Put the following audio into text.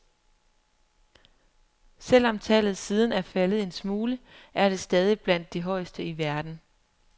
Selv om tallet siden er faldet en smule, er det stadig blandt de højeste i verden.